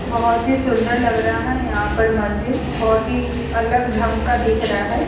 बोहोत ही सुन्दर लग रहा है यहाँ पर मंदिर। बोहोत ही अलग ढंग का दिख रहा है।